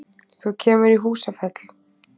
Þú kemur í Húsafell.